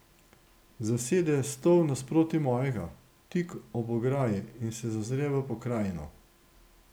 Zasede stol nasproti mojega, tik ob ograji, in se zazre v pokrajino.